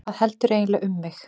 Hvað heldurðu eiginlega um mig!